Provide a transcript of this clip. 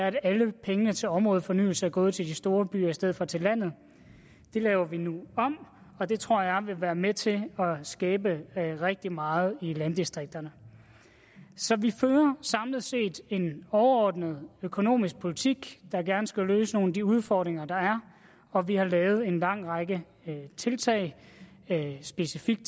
at alle pengene til områdefornyelse er gået til de store byer i stedet for til landet det laver vi nu om og det tror jeg vil være med til at skabe rigtig meget i landdistrikterne så vi fører samlet set en overordnet økonomisk politik der gerne skulle løse nogle af de udfordringer der er og vi har lavet en lang række tiltag specifikt